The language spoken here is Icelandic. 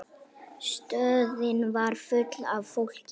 Stöðin var full af fólki.